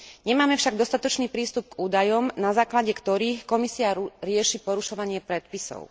Nemáme však dostatočný prístup k údajom, na základe ktorých Komisia rieši porušovanie predpisov.